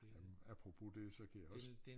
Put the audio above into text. Øh apropos det så kan jeg også